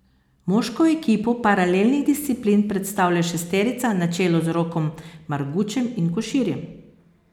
Moško ekipo paralelnih disciplin predstavlja šesterica na čelu z Rokom Margučem in Koširjem.